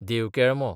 देवकेळमो